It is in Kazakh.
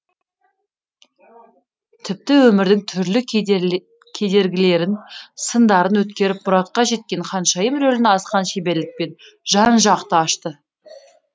тіпті өмірдің түрлі кедергілерін сындарын өткеріп мұратқа жеткен ханшайым рөлін асқан шеберлікпен жан жақты ашты